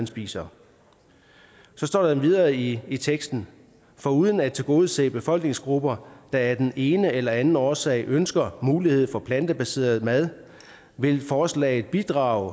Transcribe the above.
spise der står videre i i teksten foruden at tilgodese befolkningsgrupper der af den ene eller anden årsag ønsker mulighed for plantebaseret mad vil forslaget bidrage